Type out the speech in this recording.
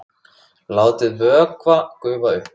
Látið vökva gufa upp.